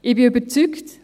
Ich bin überzeugt: